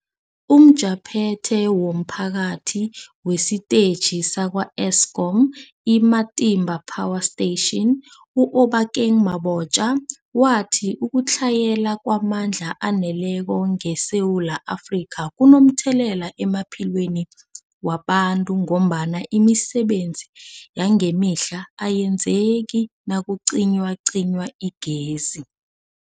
UmJaphethe womPhathi wesiTetjhi sakwa-Eskom i-Matimba Power Station u-Obakeng Mabotja wathi ukutlhayela kwamandla aneleko ngeSewula Afrika kunomthelela emaphilweni wabantu ngombana imisebenzi yangemihla ayenzeki nakucinywacinywa igezi.